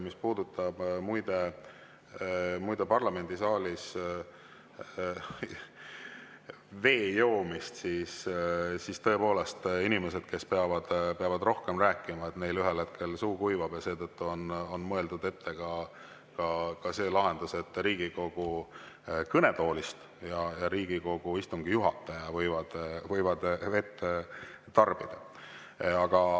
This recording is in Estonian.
Mis puudutab parlamendisaalis vee joomist, siis ütlen, et tõepoolest, inimestel, kes peavad rohkem rääkima, võib ühel hetkel suu hakata kuivama ja seetõttu on mõeldud välja ka see lahendus, et Riigikogu kõnetoolis ja Riigikogu istungi juhataja võivad vett tarbida.